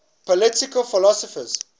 political philosophers